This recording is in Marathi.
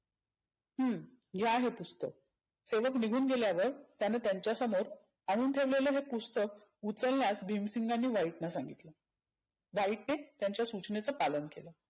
हम्म घ्या हे पुस्तक सेवक निघुन गेल्यावर त्यानं त्यांच्या समोर आणून ठेवलेल हे पुस्तक उचलण्यास भिमसिंगाने व्हाईटाला सांगितल. व्हाईटने त्यांच्या सुचनेचे पालन केलं.